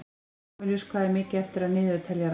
Kamilus, hvað er mikið eftir af niðurteljaranum?